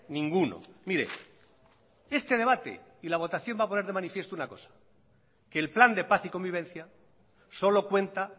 ninguno mire este debate y la votación va a poner de manifiesto una cosa que el plan de paz y convivencia solo cuenta